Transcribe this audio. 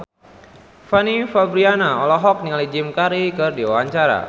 Fanny Fabriana olohok ningali Jim Carey keur diwawancara